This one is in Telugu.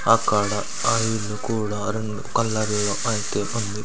అక్కడ ఆ ఇల్లు కూడా కలర్లో ఐతే ఉంది.